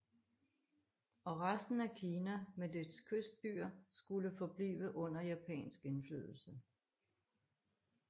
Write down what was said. Og resten af Kina med dets kystbyer skulle forblive under japansk indflydelse